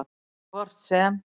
En hvort sem